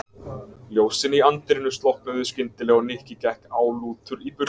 Ljósin í anddyrinu slokknuðu skyndilega og Nikki gekk álútur í burtu.